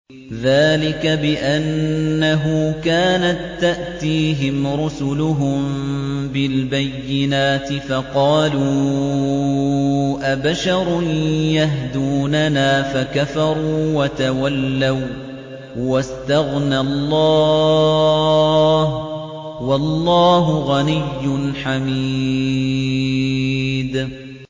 ذَٰلِكَ بِأَنَّهُ كَانَت تَّأْتِيهِمْ رُسُلُهُم بِالْبَيِّنَاتِ فَقَالُوا أَبَشَرٌ يَهْدُونَنَا فَكَفَرُوا وَتَوَلَّوا ۚ وَّاسْتَغْنَى اللَّهُ ۚ وَاللَّهُ غَنِيٌّ حَمِيدٌ